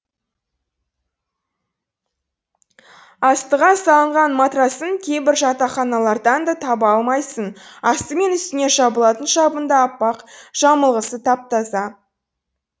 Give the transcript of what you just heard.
астыға салынған матрасын кейбір жатақханалардан да таба алмайсың асты мен үстіңе жабылатын жабын да аппақ жамылғысы тап таза